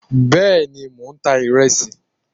bẹẹni mọ n tá iresí